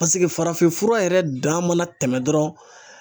Paseke farafinfura yɛrɛ dan mana tɛmɛ dɔrɔn.